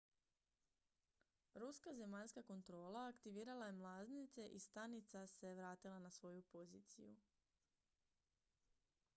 ruska zemaljska kontrola aktivirala je mlaznice i stanica se vratila na svoju poziciju